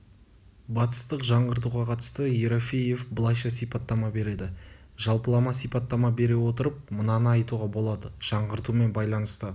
батыстық жаңғыртуға қатысты ерофеев былайша сипаттама береді жалпылама сипаттама бере отырып мынаны айтуға болады жаңғыртумен байланысты